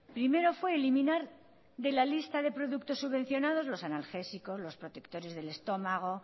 primero fue eliminar de la lista de productos subvencionados los analgésicos los protectores del estómago